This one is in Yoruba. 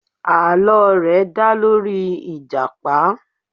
Àlọ́ rẹ̀ dá lórí ìjàpá.